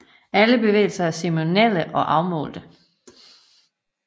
Alle bevægelser er ceremonielle og afmålte